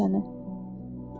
Hansı gözəl çəni?